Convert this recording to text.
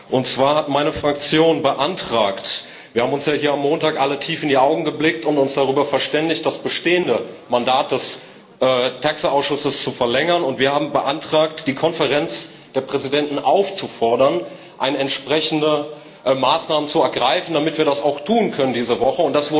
Und zwar hat meine Fraktion beantragt wir haben uns ja hier am Montag alle tief in die Augen geblickt und uns darüber verständigt, das bestehende Mandat des TAXE Ausschusses zu verlängern die Konferenz der Präsidenten aufzufordern, entsprechende Maßnahmen zu ergreifen, damit wir das auch tun können diese Woche.